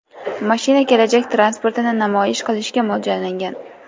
Mashina kelajak transportini namoyish qilishga mo‘ljallangan.